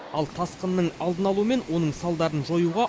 ал тасқынның алдын алу мен оның салдарын жоюға